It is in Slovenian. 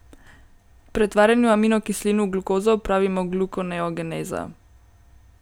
Pretvarjanju aminokislin v glukozo pravimo glukoneogeneza.